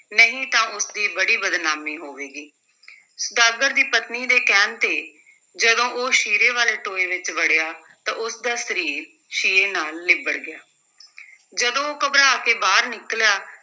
ਨਹੀਂ ਤਾਂ ਉਸ ਦੀ ਬੜੀ ਬਦਨਾਮੀ ਹੋਵੇਗੀ ਸੁਦਾਗਰ ਦੀ ਪਤਨੀ ਦੇ ਕਹਿਣ ਤੇ ਜਦੋਂ ਉਹ ਸ਼ੀਰੇ ਵਾਲੇ ਟੋਏ ਵਿਚ ਵੜਿਆ, ਤਾਂ ਉਸ ਦਾ ਸਰੀਰ ਸ਼ੀਰੇ ਨਾਲ ਲਿਬੜ ਗਿਆ ਜਦੋਂ ਉਹ ਘਬਰਾ ਕੇ ਬਾਹਰ ਨਿਕਲਿਆ,